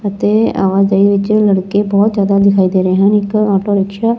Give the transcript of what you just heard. ਅਤੇ ਆਵਾਜਾਈ ਵਿੱਚ ਲੜਕੇ ਬਹੁਤ ਜਿਆਦਾ ਦਿਖਾਈ ਦੇ ਰਹੇ ਹਨ ਇੱਕ ਆਟੋ ਰਿਕਸ਼ਾ --